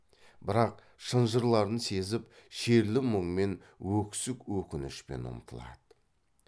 бірақ шынжырларын сезіп шерлі мұңмен өксік өкінішпен ұмтылады